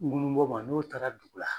Ŋunun bɔ ma n'o taara dugu la